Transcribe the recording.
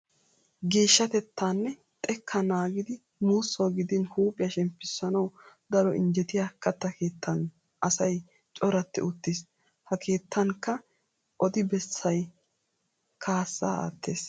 Geeshshatettaa nne xekkaa naagida muussawu gidin huuphiya shemppissanawu daro injjetiya katta keettan asay coratti uttiis. Ha keettankka odi bessay kaassaa aattees.